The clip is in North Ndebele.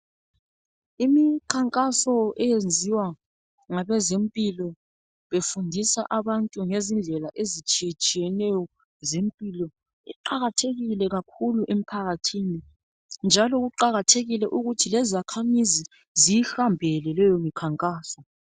Imikhankaso eyenziwa ngabezempilo befundisa abantu ngezi ndlela ezitshiye tshiyeneyo zempilo iqakathekile kakhulu njalo kuqakathekile ukuthi izakhamizi ziyihambele leyo mikhankaso.